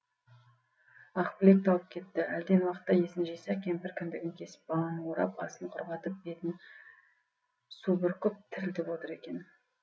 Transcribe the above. ақбілек талып кетті әлден уақытта есін жиса кемпір кіндігін кесіп баланы орап астын құрғатып бетіне су бүркіп тірілтіп отыр екен